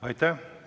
Aitäh!